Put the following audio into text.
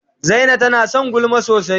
Zaina tana son gulma sosai.